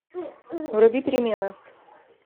вруби перемены